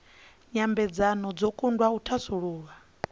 nyambedzano dzo kundwa u thasulula